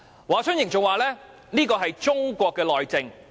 "華春瑩更表示這是中國內政......